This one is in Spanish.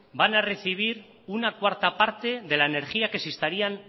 van a recibir una cuarta parte de la energía que si estarían